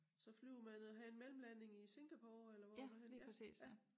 Så flyver man og har en mellemlanding i Singapore eller hvor er det henne?